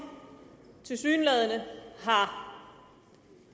tilsyneladende har